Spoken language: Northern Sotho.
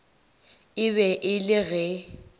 e be e le ge